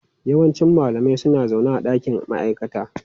Yawancin malamai suna zaune a dakin ma'aikata.